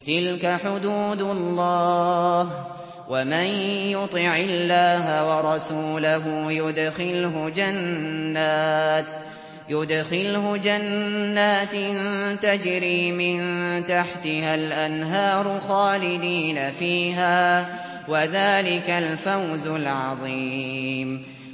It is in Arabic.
تِلْكَ حُدُودُ اللَّهِ ۚ وَمَن يُطِعِ اللَّهَ وَرَسُولَهُ يُدْخِلْهُ جَنَّاتٍ تَجْرِي مِن تَحْتِهَا الْأَنْهَارُ خَالِدِينَ فِيهَا ۚ وَذَٰلِكَ الْفَوْزُ الْعَظِيمُ